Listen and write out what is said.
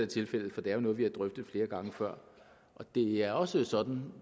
tilfældet for det er jo noget vi har drøftet flere gange før det er også sådan og